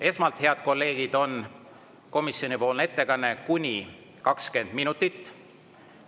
Esmalt, head kolleegid, on komisjoni ettekanne, kuni 20 minutit.